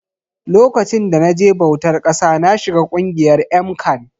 Lokacin da na je bautar ƙasa na shiga ƙungiyar MCAN